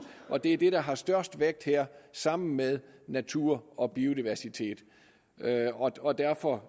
og det er det der har størst vægt her sammen med natur og biodiversitet og og derfor